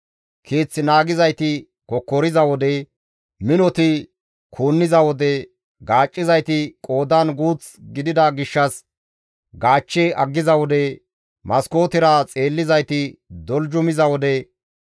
Keeth naagizayti kokkoriza wode, minoti kuunniza wode, gaaccizayti qoodan guuth gidida gishshas gaachche aggiza wode, maskootera xeellizayti doljumiza wode,